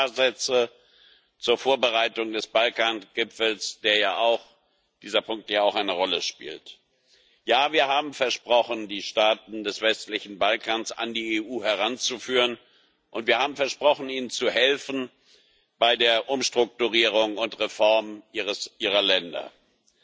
Nur ein paar Sätze zur Vorbereitung des Balkan Gipfels, da dieser Punkt ja auch eine Rolle spielt Ja, wir haben versprochen, die Staaten des westlichen Balkans an die EU heranzuführen, und wir haben versprochen, ihnen bei der Umstrukturierung und bei der Reform ihrer Länder zu helfen.